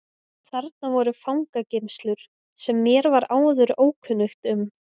Þarna voru fangageymslur sem mér var áður ókunnugt um.